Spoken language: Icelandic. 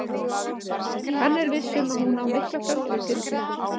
Hann er viss um að hún á mikla framtíð fyrir sér.